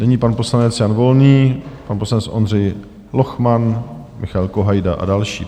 Nyní pan poslanec Jan Volný, pan poslanec Ondřej Lochman, Michael Kohajda a další.